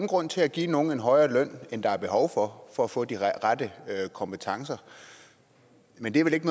grund til at give nogen en højere løn end der er behov for for at få de rette kompetencer men det er vel ikke